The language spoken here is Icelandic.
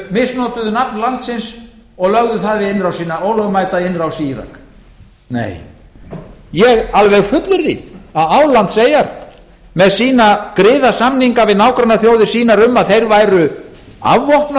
misnotuðu nafn landsins og lögðu það í ólögmæta innrás í írak nei ég alveg fullyrði að álandseyjar með sína griðasamninga við nágrannaþjóðir sínar um að þeir væru afvopnað